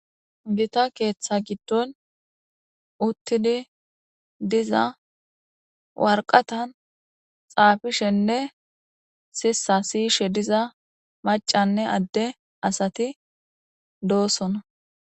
Gita keththa gidon uttidi diza waraqatan xafishshenne sisa siyishe diza maccanne ade asati dossona